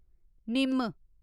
निम्म